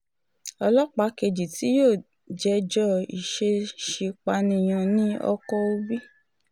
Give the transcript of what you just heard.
ọlọ́pàá kejì tí yóò jẹ́jọ́ ìṣeèṣì-pànìyàn ní ọkọ̀í òbí